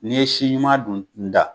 Ni ye si ɲuman dun da